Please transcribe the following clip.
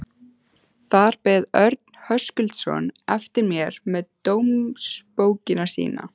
Þar beið Örn Höskuldsson eftir mér með dómsbókina sína.